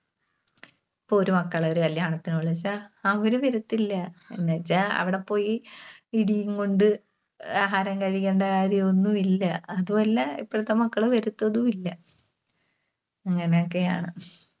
ഇപ്പോ ഒരു മക്കള് ഒരു കല്യാണത്തിന് വിളിച്ചാ അവര് വരത്തില്ല. എന്നുവെച്ചാ അവടെ പോയി ഇടീം കൊണ്ട് ആഹാരം കഴിക്കണ്ട കാര്യമൊന്നും ഇല്ല. അതും അല്ല ഇപ്പഴത്തെ മക്കള് വരത്തതുമില്ല. അങ്ങനൊക്കെയാണ്.